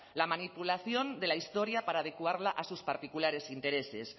la manipulación de la historia para adecuarla a sus particulares intereses